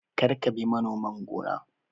Kar ka bi manoman gona!